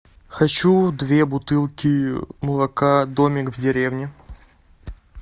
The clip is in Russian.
хочу две бутылки молока домик в деревне